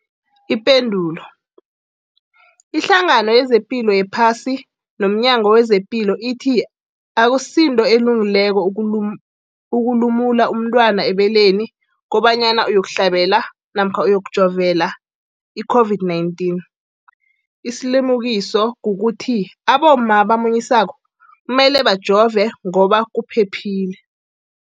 Ipendulo, iHlangano yezePilo yePhasi nomNyango wezePilo ithi akusinto elungileko ukulumula umntwana ebeleni kobanyana uyokuhlabela namkha uyokujovela i-COVID-19. Isilimukiso kukuthi abomma abamunyisako kumele bajove ngoba kuphephile.